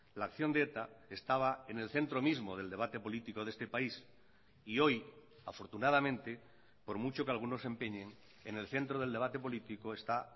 la acción de eta estaba en el centro mismo del debate político de este país y hoy afortunadamente por mucho que algunos se empeñen en el centro del debate político está